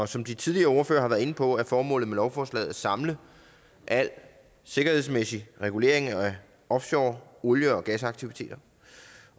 som de tidligere ordførere har været inde på er formålet med lovforslaget at samle al sikkerhedsmæssig regulering af offshore olie og gasaktiviteter